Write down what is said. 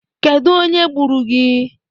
Kedụ onye gburu gị?